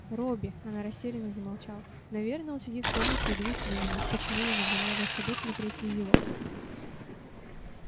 робби она растерянно замолчала наверно он сидит в комнате и дуется на меня почему я не взяла его с собой смотреть визивокс